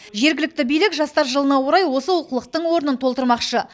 жергілікті билік жастар жылына орай осы олқылықтың орнын толтырмақшы